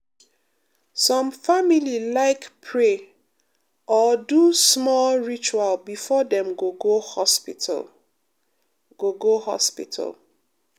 some family like pray or do small ritual before dem go go hospital. go go hospital.